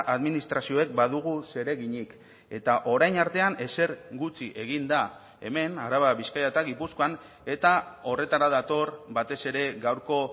administrazioek badugu zereginik eta orain artean ezer gutxi egin da hemen araba bizkaia eta gipuzkoan eta horretara dator batez ere gaurko